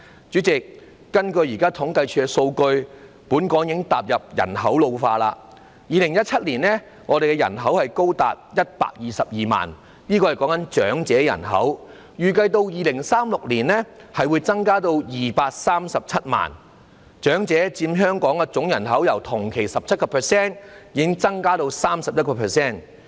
主席，根據現時政府統計處的數據，本港已踏入人口老化階段，在2017年，香港長者人口高達122萬人，預計到2036年將增至237萬人，長者佔香港總人口由同期的 17% 增至 31%。